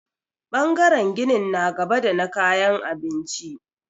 Ɓangaren ginin na gaba da na kayan abinci.